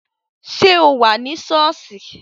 Ṣé o wà ní sọ́ọ̀sì?